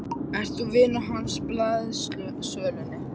Ert þú vinur hans úr blaðasölunni?